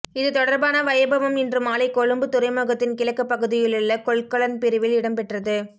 இது தொடர்பான வைபவம் இன்றுமாலை கொழும்பு துறைமுகத்தின் கிழக்கு பகுதியிலுள்ள கொள்கலன் பிரிவில் இடம்பெற்றது